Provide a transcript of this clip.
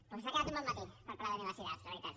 doncs ha quedat un bon matí per parlar d’universitats la veritat